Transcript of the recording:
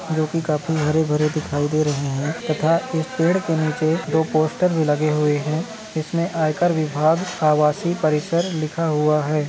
जो की काफी हरे भरे दिखाई दे रहे है तथा इस पेड़ के नीचे दो पोस्टर भी लगे हुए है इसमे आइकर विभाग आवासी परिसर लिखा हुआ है।